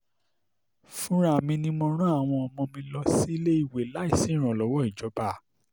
fúnra mi ni mo rán àwọn ọmọ mi lọ síléèwé láì sí ìrànlọ́wọ́ ìjọba